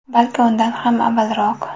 Balki undan ham avvalroq”.